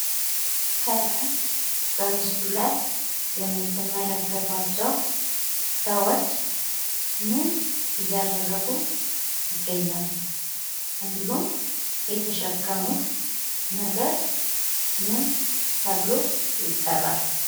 ከላይ በምስሉ ላይ የምትመለከቱት ሰዎች ምን እያደርጉ ይገኛሉ? እንዲሁም የተሸከሙት ነገር ምን ተብሎ ይጠራል?